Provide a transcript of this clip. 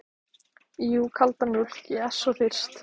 Jú, kalda mjólk, ég er svo þyrst.